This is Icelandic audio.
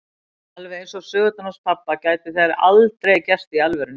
Alveg eins og sögurnar hans pabba geta þær aldrei gerst í alvörunni.